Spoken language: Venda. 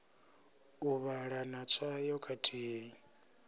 u vhala na tswayo khathihi